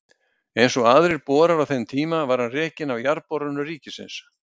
Eins og aðrir borar á þeim tíma var hann rekinn af Jarðborunum ríkisins.